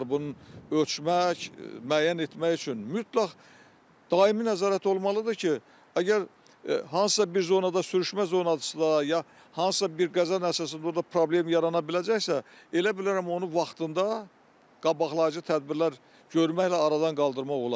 Bunun ölçmək, müəyyən etmək üçün mütləq daimi nəzarət olmalıdır ki, əgər hansısa bir zonada sürüşmə zonasıda ya hansısa bir qəza nəticəsində orda problem yarana biləcəksə, elə bilərəm onu vaxtında qabaqlayıcı tədbirlər görməklə aradan qaldırmaq olar.